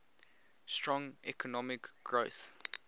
strong economic growth